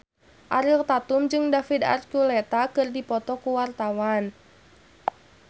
Ariel Tatum jeung David Archuletta keur dipoto ku wartawan